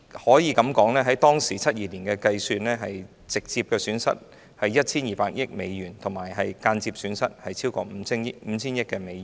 按照1972年的計算，中國直接損失 1,200 億美元，間接損失超過 5,000 億美元。